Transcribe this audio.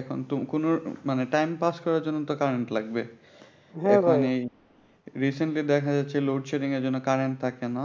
এখন তো কোন মানে time pass করার জন্য তো current লাগবে recently দেখা যাচ্ছে load shedding এর জন্য current থাকে না